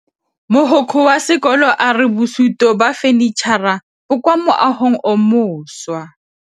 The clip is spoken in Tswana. Mogokgo wa sekolo a re bosutô ba fanitšhara bo kwa moagong o mošwa.